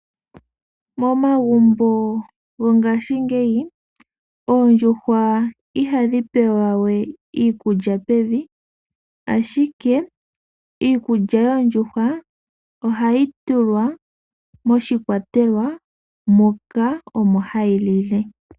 Momagumbo gongashingeyi oondjuhwa ihadhi pewa we iikulya pevi, ashike iikulya yoondjuhwa ohayi tulwa moshikwatelwa moka omo hadhi lile.